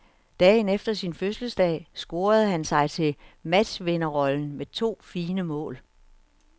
Dagen efter sin fødselsdag scorede han sig til matchvinderrollen med to fine mål.